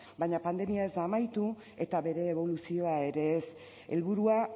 baina pandemia ez da amaitu eta bere eboluzioa ere ez helburua